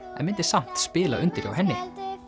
en myndi samt spila undir hjá henni